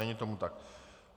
Není tomu tak.